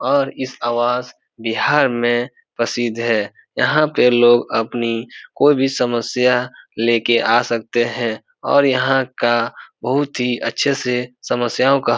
और इस आवास बिहार में प्रसिद्ध है और यहाँ पे लोग अपनी कोई भी समस्या लेके आ सकते है और यहाँ का बहुत ही अच्छे से समस्याओं का --